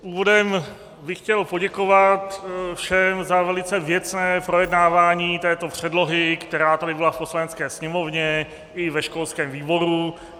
Úvodem bych chtěl poděkovat všem za velice věcné projednávání této předlohy, která tady byla v Poslanecké sněmovně i ve školském výboru.